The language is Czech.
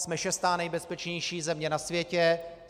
Jsme šestá nejbezpečnější země na světě.